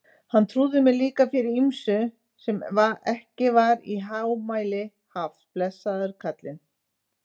Hann trúði mér líka fyrir ýmsu sem ekki var í hámæli haft, blessaður kallinn.